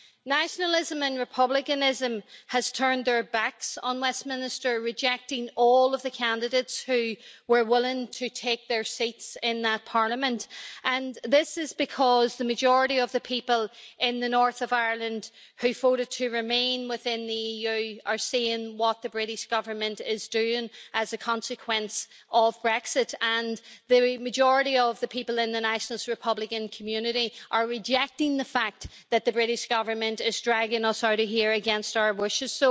Nationalism and republicanism have turned their backs on Westminster, rejecting all of the candidates who were willing to take their seats in that parliament, and this is because the majority of the people in the north of Ireland who voted to remain within the EU are seeing what the British Government is doing as a consequence of Brexit and the majority of the people in the nationalist republican community are rejecting the fact that the British Government is dragging us out of here against our wishes.